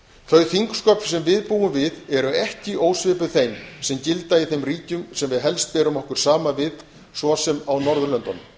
þau þingsköp sem við búum við eru ekki ósvipuð þeim sem gilda í þeim ríkjum sem við berum okkur helst saman við svo sem á norðurlöndunum